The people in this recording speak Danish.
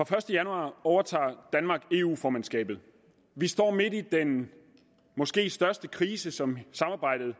første januar overtager danmark eu formandskabet vi står midt i den måske største krise som samarbejdet